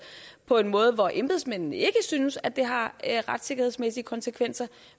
på en måde hvor embedsmændene ikke synes at det har retssikkerhedsmæssige konsekvenser